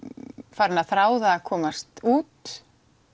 farin að þrá það að komast út